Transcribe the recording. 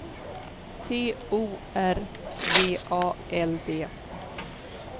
T O R V A L D